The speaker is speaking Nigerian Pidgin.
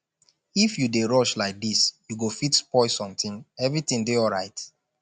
if you dey rush like dis you go fit spoil something everything dey alright